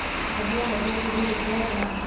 ਵਧੀਆ ਵਧੀਆ ਤੁਸੀਂ ਦੱਸੋਂ ਆਪਣਾ।